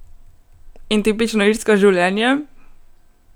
In tipično irsko življenje?